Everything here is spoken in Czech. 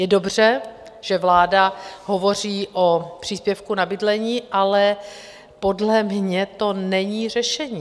Je dobře, že vláda hovoří o příspěvku na bydlení, ale podle mě to není řešení.